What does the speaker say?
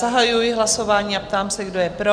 Zahajuji hlasování a ptám se, kdo je pro?